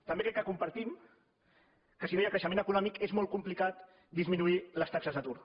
també crec que compartim que si no hi ha creixement econòmic és molt complicat disminuir les taxes d’atur